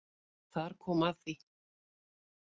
Þar kom að því